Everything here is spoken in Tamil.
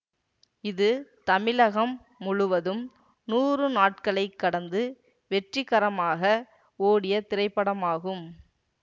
இது தமிழகம் முழுவதும் நூறு நாட்களை கடந்து வெற்றிகரமாக ஓடிய திரைப்படமாகும்